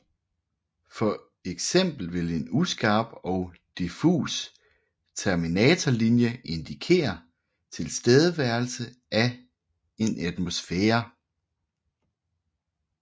For eksempel vil en uskarp og diffus terminatorlinje indikere tilstedeværelse af en atmosfære